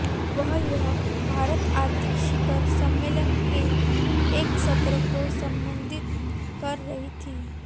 वह यहां भारत आर्थिक शिखर सम्मेलन के एक सत्र को संबोधित कर रही थीं